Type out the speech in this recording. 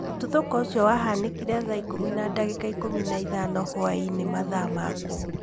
Mũtuthuko ũcio wahanĩkire thaa ikũmi na ndagĩka ikũmi na ithano hwa-inĩ mathaa ma kũu.